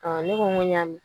Ɔ ne ko ko n y'a mɛ.